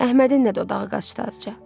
Əhmədin də dodağı qaşdı azca.